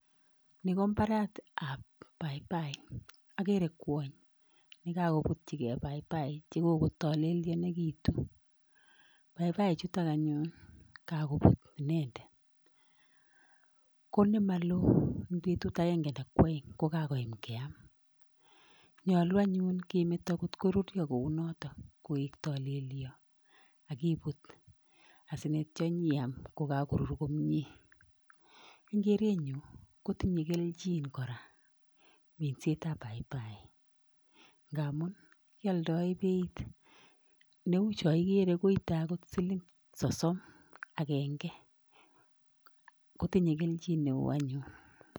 Ni ko mbaretap paipai[sc]. Akere kwony nekakoputchigei [sc]paipai[sc] chekokotalelyenekitu. Paipaichutok anyun kakoput inendet ko nemalo eng petut akenke anan ko aeng ko kakoyam keam. Nyolu anyun kemeto nkot koruryo kou no koek tolelyo akiput asinyeityo nyiam kokakorur komie. Eng kerenyu kotinye kelchin kora minsetap paipai[sc] ngamun kialdoe beit. Neu choikere koite akjot siling sosom akenke, kotinye kelchin neo anyun.